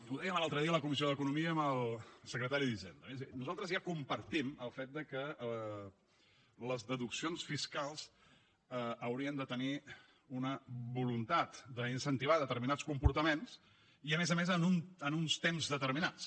ho dèiem l’altre dia a la comissió d’economia amb el secretari d’hisenda nosaltres ja compartim el fet que les deduccions fiscals haurien de tenir una voluntat d’incentivar determinats comportaments i a més a més en uns temps determinats